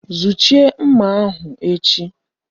Zuchie nmà ahụ echi!